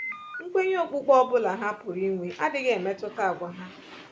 Nkwenye okpukpe ọ bụla ha pụrụ inwe adịghị emetụta àgwà ha.